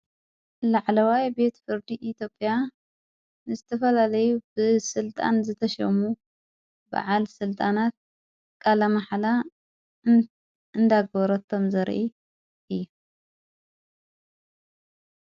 ላዕለዋይ ቤት ፍርዲ ኢቴጴያ ንስቲፈላለይ ብ ሥልጣን ዘተሸሙ በዓል ሥልጣናት ቃላመሓላ እንዳገበረቶም ዘርኢ እዩ ::